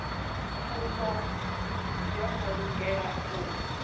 pfufho yo no lugela u